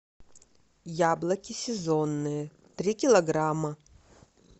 яблоки сезонные три килограмма